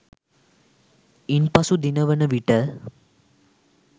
ඉන් පසු දින වන විට